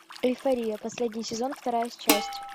эйфория последний сезон вторая часть